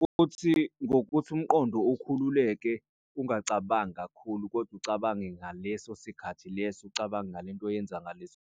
Futhi ngokuthi umqondo ukhululeke ungacabangi kakhulu, kodwa ucabange ngaleso sikhathi leso ucabange ngale nto oyenza ngaleso.